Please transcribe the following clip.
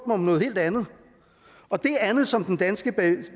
om noget helt andet og det andet som den danske